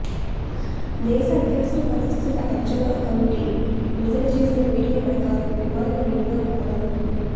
దేశ అత్యవసర పరిస్థితుల అంచనా కమిటీ విడుదల చేసిన వీడియో ప్రకారం విమానం రెండుగా ముక్కలైంది